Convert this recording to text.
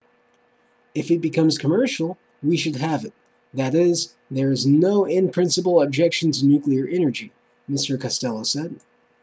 if it becomes commercial we should have it that is there's no in-principle objection to nuclear energy mr costello said